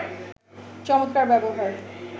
চমৎকার ব্যবহার